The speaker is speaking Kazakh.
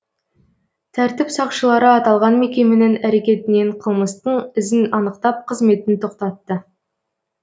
тәртіп сақшылары аталған мекеменің әрекетінен қылмыстың ізін анықтап қызметін тоқтатты